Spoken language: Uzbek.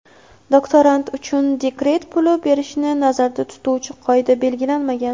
doktorant) uchun dekret puli berishni nazarda tutuvchi qoida belgilanmagan.